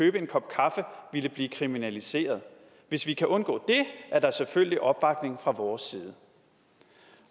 købe en kop kaffe ville blive kriminaliseret hvis vi kan undgå det er der selvfølgelig opbakning fra vores side